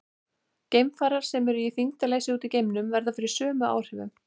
Geimfarar sem eru í þyngdarleysi úti í geimnum verða fyrir sömu áhrifum.